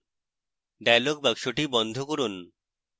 dialog box বন্ধ করুন